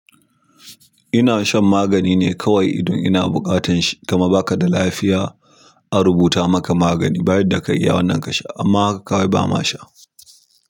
Ina shan magani ne kawai idan ina buƙatan shi, kamar baka da lafiya a rubuta maka magani, ba yadda ka iya wannan kasha amma haka kawai bama sha.